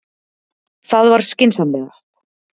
Það var skynsamlegast.